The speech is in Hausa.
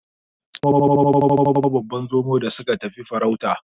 Yayana ya kamo babban Zomo da suka tafi farauta.